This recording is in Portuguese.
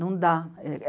Não dá.